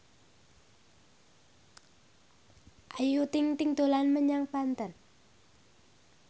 Ayu Ting ting dolan menyang Banten